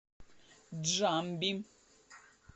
джамби